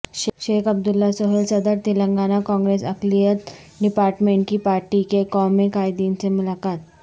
شیخ عبداللہ سہیل صدر تلنگانہ کانگریس اقلیت ڈپارٹمنٹ کی پارٹی کے قومی قائدین سے ملاقات